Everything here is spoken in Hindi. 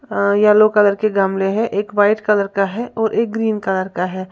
अ येलो कलर के गमले हैं एक व्हाइट कलर का है और एक ग्रीन कलर का है।